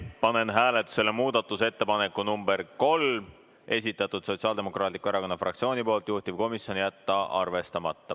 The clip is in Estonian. Panen hääletusele muudatusettepaneku nr 3, mis on esitatud Sotsiaaldemokraatliku Erakonna fraktsiooni poolt ja juhtivkomisjoni seisukoht on jätta arvestamata.